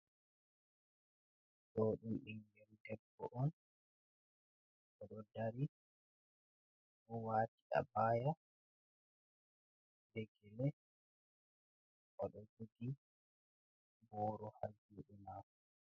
Ɗo ɗum ɓingel debbo on, oɗo dari o'wati abaya be gele, oɗo jogi boro ha juɗe mako.